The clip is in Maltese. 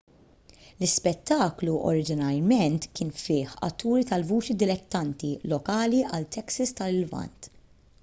l-ispettaklu oriġinarjament kien fih atturi tal-vuċi dilettanti lokali għal texas tal-lvant